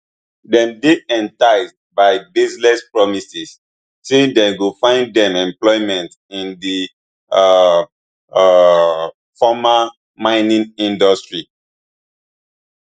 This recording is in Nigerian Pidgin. dem dey enticed by baseless promises say dem go find dem employment in di um um formal mining industry